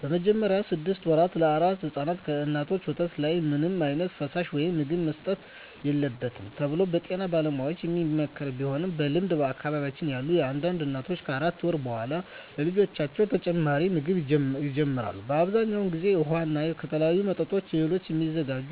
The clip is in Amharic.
በመጀመሪያዎቹ ስድስት ወራ ለአራስ ሕፃናት ከእናቶች ወተት ሌላ ምንም ዓይነት ፈሳሽ ወይም ምግብ መሰጠት የለበትም ተብሎ በጤና ባለሙያዎች የሚመከር ቢሆንም በልምድ በአካባቢየ ያሉ አንዳንድ እናቶች ከአራት ወር በኃላ ለልጆቻቸው ተጨማሪ ምግብ ይጀምራሉ። በአብዛኛው ጊዜ ውሃ እና ከተለያዩ ምጥን እህሎች የሚዘጋጅ